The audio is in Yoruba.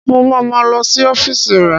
Mo ma ma lọ sí ọ́fíìsì rẹ̀